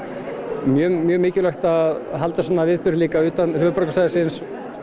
mjög mjög mikilvægt að halda svona viðburði líka utan höfuðborgarsvæðisins